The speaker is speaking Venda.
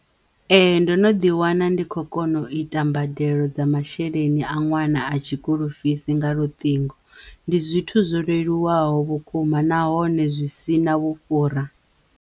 Ee! ndo no ḓi wana ndi kho kona u ita mbadelo dza masheleni a ṅwana a tshikulufisi nga luṱingo ndi zwithu zwo leluwaho vhukuma nahone zwi si na vhufhura.